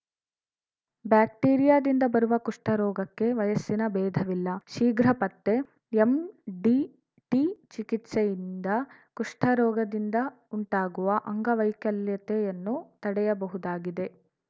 ಬ್ಯಾಕ್ಟೇರಿಯಾದಿಂದ ಬರುವ ಕುಷ್ಠರೋಗಕ್ಕೆ ವಯಸ್ಸಿನ ಬೇಧವಿಲ್ಲ ಶೀಘ್ರ ಪತ್ತೆ ಎಂಡಿಟಿ ಚಿಕಿತ್ಸೆಯಿಂದ ಕುಷ್ಠರೋಗದಿಂದ ಉಂಟಾಗುವ ಅಂಗವೈಕಲ್ಯತೆಯನ್ನು ತಡೆಯಬಹುದಾಗಿದೆ